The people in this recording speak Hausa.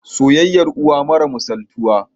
soyayyar uwa mara misaltuwa